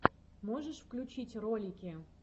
можешь включить ролики